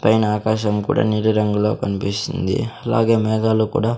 పైన ఆకాశం కూడా నీలిరంగులో కన్పిస్తుంది అలాగే మేఘాలు కూడా--